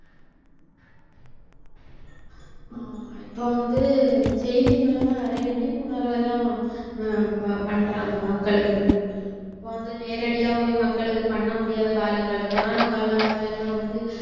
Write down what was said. ஆமா இப்ப வந்து செய்தி மூலமா நிறைய விழிப்புணர்வெல்லாம் ஆஹ் பண்றாங்க மக்களுக்கு இப்ப வந்து நேரடியா போய் மக்களுக்கு பண்ண முடியாத காலங்கள்ல கொரோனா காலங்கள்ல எல்லாம் வந்து